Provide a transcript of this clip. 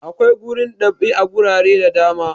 Akwai gurin dab'i a gurare da da ma.